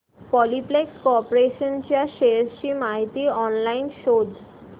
Polyplex corporation च्या shares ची माहिती ऑनलाइन शोध